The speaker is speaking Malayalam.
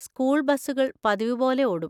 സ്കൂൾ ബസുകൾ പതിവുപോലെ ഓടും.